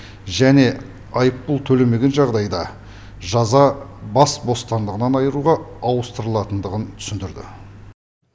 және айыппұл төлемеген жағдайда жаза бас бостандығынан айыруға ауыстырылатындығын түсіндірді